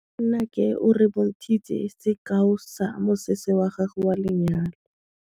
Nnake o re bontshitse sekaô sa mosese wa gagwe wa lenyalo.